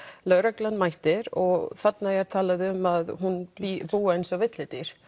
lögreglan mætir og þarna er talað um að hún búi eins og villidýr